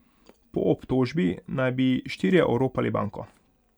Po obtožbi naj bi štirje oropali banko.